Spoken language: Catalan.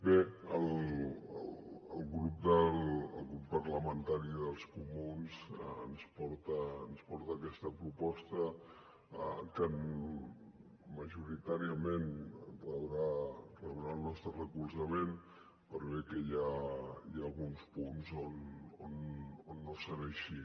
bé el grup parlamentari dels comuns ens porta aquesta proposta que majoritàriament rebrà el nostre recolzament per bé que hi ha alguns punts on no serà així